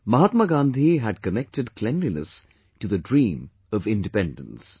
Mahatma Gandhi had connected cleanliness to the dream of Independence